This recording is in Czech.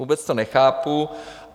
Vůbec to nechápu.